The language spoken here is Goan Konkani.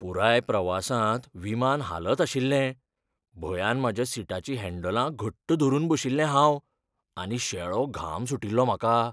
पुराय प्रवासांत विमान हालत आशिल्लें, भंयान म्हाज्या सिटाचीं हँडलां घट्ट धरून बशिल्लें हांव, आनी शेळो घाम सुटिल्लो म्हाका.